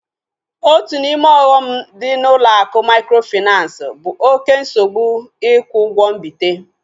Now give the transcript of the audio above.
Otu n'ime ọghọm dị na ụlọ akụ mikrofinansi bụ oké nsogbu ikwu ụgwọ mbite